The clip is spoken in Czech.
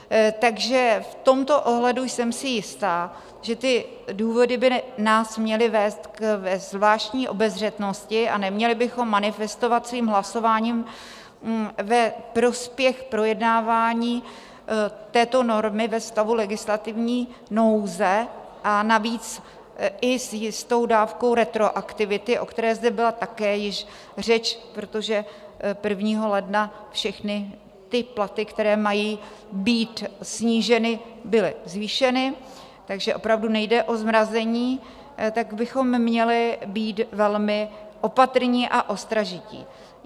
Takže v tomto ohledu jsem si jistá, že ty důvody by nás měly vést ke zvláštní obezřetnosti a neměli bychom manifestovat svým hlasováním ve prospěch projednávání této normy ve stavu legislativní nouze, a navíc i s jistou dávkou retroaktivity, o které zde byla také již řeč, protože 1. ledna všechny ty platy, které mají být sníženy, byly zvýšeny, takže opravdu nejde o zmrazení, tak bychom měli být velmi opatrní a ostražití.